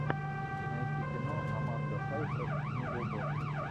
найти кино аманда сайфред снегоуборщик